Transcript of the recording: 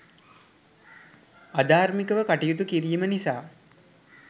අධාර්මිකව කටයුතු කිරීම නිසා